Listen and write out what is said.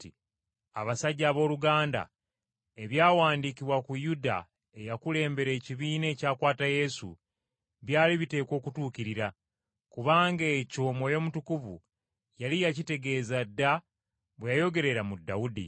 “Abasajja abooluganda, ebyawandiikibwa ku Yuda eyakulembera ekibiina ekyakwata Yesu byali biteekwa okutuukirira; kubanga ekyo Mwoyo Mutukuvu yali yakitegeeza dda bwe yayogerera mu Dawudi.